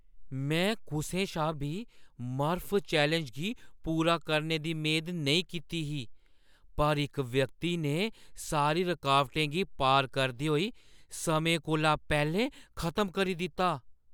में कुसै शा बी मर्फ चैलेंज गी पूरा करने दी मेद नेईं कीती ही, पर इक व्यक्ति ने सारी रकौटें गी पार करदे होई समें कोला पैह्‌लें खत्म करी दित्ता।